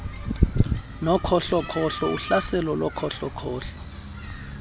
nokhohlokhohlo uhlaselo lokhohlokhohlo